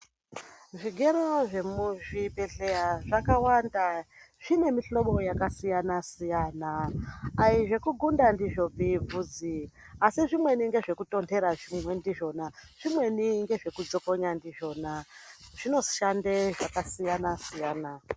Zvirwere zvemuzvi bhedhleya zvakawanda zvine mihlobo yakasiyana siyana. Ayizvekugunda ndizvopi bvudzi asi zvimweni ngezvekutontera zvimwe ndizvona, zvimweni ngezvekudzokonya ndizvona. Zvinoshande zvakasiyana siyana.